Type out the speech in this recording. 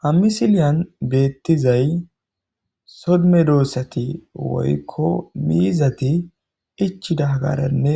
ha misiliyan beettizay so medoossati woykko miizati ichi dagaranne